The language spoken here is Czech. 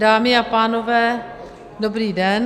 Dámy a pánové, dobrý den.